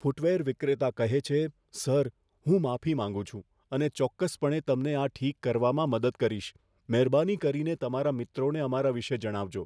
Footwear વિક્રેતા કહે છે, સર, હું માફી માંગું છું અને ચોક્કસપણે તમને આ ઠીક કરવામાં મદદ કરીશ. મહેરબાની કરીને તમારા મિત્રોને અમારા વિષે જણાવજો